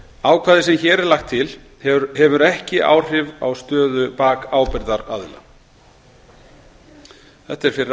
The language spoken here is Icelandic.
ákvæði sem hér er lagt til hefur ekki áhrif á stöðu bakábyrgðar aðila þetta er fyrra